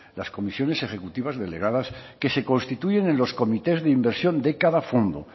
las comisiones ejecutivas delegadas que se constituyen en los comités de inversión de cada fondo